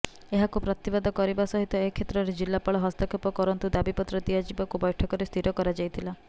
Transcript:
ଏହାକୁ ପ୍ରତିବାଦ କରିବା ସହିତ ଏ କ୍ଷେତ୍ରରେ ଜିଲ୍ଳାପାଳ ହସ୍ତକ୍ଷେପ କରନ୍ତୁ ଦାବୀପତ୍ର ଦିଆଯିବାକୁ ବୈଠକରେ ସ୍ଥିର କରାଯାଇଥିଲା